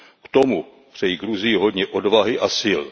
K tomu přeji Gruzii hodně odvahy a sil.